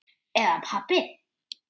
Eða pabbi.